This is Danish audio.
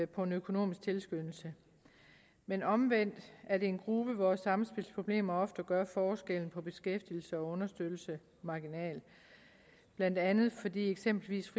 på en økonomisk tilskyndelse men omvendt er det en gruppe hvor samspilsproblemer ofte gør forskellen på beskæftigelse og understøttelse marginal blandt andet fordi eksempelvis